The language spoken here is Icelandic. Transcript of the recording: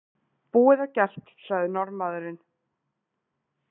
Búið og gert, sagði Norðmaðurinn.